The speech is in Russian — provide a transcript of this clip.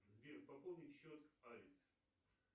сбер пополни счет авис